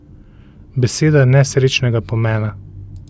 Beseda nesrečnega pomena.